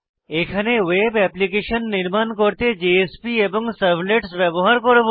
এখানে web application নির্মাণ করতে জেএসপি এবং সার্ভলেটস ব্যবহার করব